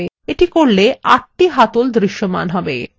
এটি করলে আটটি হাতল দৃশ্যমান হবে